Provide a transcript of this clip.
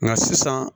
Nka sisan